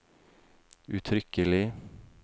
uttrykkelig